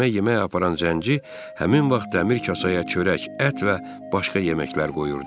Cimə yemək aparan zənci həmin vaxt dəmir kasaya çörək, ət və başqa yeməklər qoyurdu.